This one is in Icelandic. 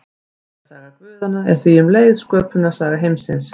Ættarsaga guðanna er því um leið sköpunarsaga heimsins.